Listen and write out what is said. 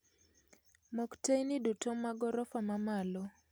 Mok teyni duto mag orofa mamalo